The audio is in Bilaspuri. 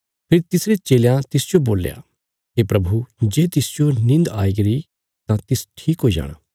फेरी तिसरे चेलयां तिसजो बोल्या हे प्रभु जे तिसजो निन्द आईगरी तां तिस ठीक हुई जाणा